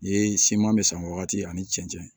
Ye siman misɛnman ani cɛncɛn